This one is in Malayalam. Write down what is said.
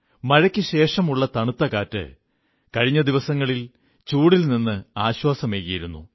മഴയ്ക്കുശേഷമുള്ള തണുത്ത കാറ്റ് കഴിഞ്ഞ ദിവസങ്ങളിൽ ചൂടിൽ നിന്ന് ആശ്വാസമേകിയിരിക്കുന്നു